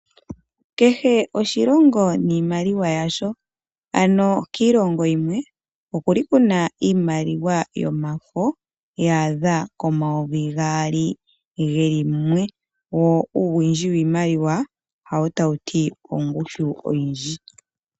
Kehe oshilongo niimaliwa yasho, ano kiilongo yimwe okuli kuna iimaliwa yomafo ya adha komayovi gaali geli mumwe, wo owiindji woshimaliwa hawo tawu ti ongushu oyindji.